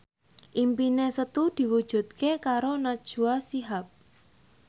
impine Setu diwujudke karo Najwa Shihab